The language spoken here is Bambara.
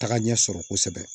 Taga ɲɛ sɔrɔ kosɛbɛ